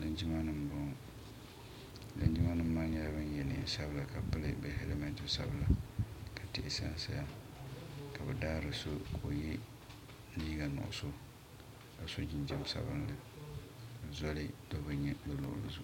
linjima nima n bɔŋɔ linjima maa nyɛla ban yɛ nɛnsabila ka pɛli halimɛtɛ sabila ka tihi sansaya ka be daari so ka o yɛ liga nuɣisu ka so jinjam sabinli zoli do be tuuni